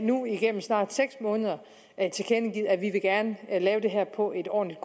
nu igennem snart seks måneder tilkendegivet at vi gerne vil lave det her på et ordentligt